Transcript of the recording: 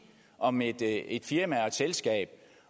om et et firma og et selskab